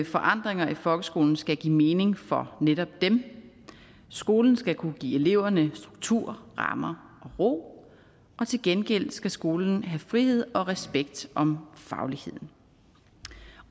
forandringer i folkeskolen skal give mening for netop dem skolen skal kunne give eleverne struktur rammer og ro og til gengæld skal skolen have frihed og respekt om fagligheden